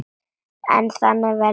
En þannig verður það ekki.